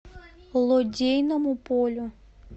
лодейному полю